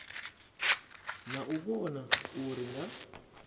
na u vhona uri nga